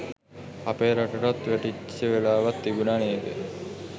අපේ රටටත් වැටිච්ච වෙලාවක් තිබුණ නේද?